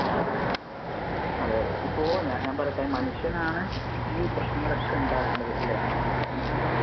അതെ അതെ അതെ. ഇപ്പൊ ഞാ~ ഞാൻ പറയട്ടെ മനുഷ്യൻ ആണ് ഈ പ്രേശ്നങ്ങൾ ഒക്കെ ഉണ്ടാകുന്നത് അല്ലെ. മനുഷ്യൻ തന്നെ